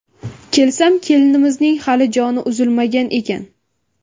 Kelsam, kelinimizning hali joni uzilmagan ekan.